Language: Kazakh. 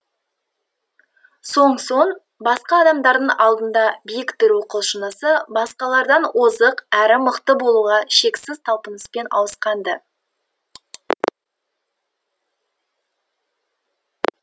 сонсоң басқа адамдардың алдында биік тұру құлшынысы басқалардан озық әрі мықты болуға шексіз талпыныспен ауысқан ды